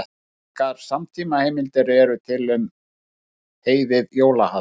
Engar samtímaheimildir eru til um heiðið jólahald.